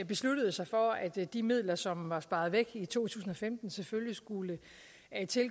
besluttede sig for at de midler som var blevet sparet væk i to tusind og femten selvfølgelig skulle